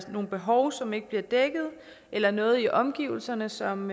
nogle behov som ikke bliver dækket eller noget i omgivelserne som